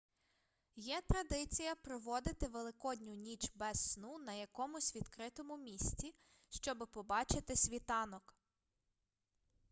є традиція проводити великодню ніч без сну на якомусь відкритому місці щоби побачити світанок